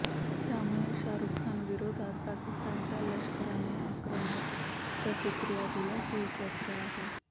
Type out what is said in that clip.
त्यामुळे शाहरुखविरोधात पाकिस्तानच्या लष्कराने आक्रमक प्रतिक्रिया दिल्याची चर्चा आहे